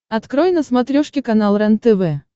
открой на смотрешке канал рентв